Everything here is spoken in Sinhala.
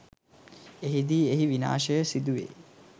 එහිදී එහි විනාශය සිදුවෙයි.